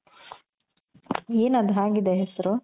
N ಅದು ಹಾಗ್ ಇದೆ ಹೆಸರು